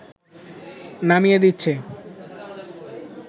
নামিয়ে দিচ্ছে